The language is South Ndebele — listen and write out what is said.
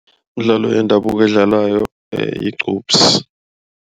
Imidlalo yendabuko eydlalwako yiqupsi.